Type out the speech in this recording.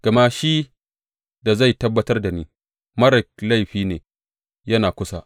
Gama shi da zai tabbatar da ni, marar laifi ne yana kusa.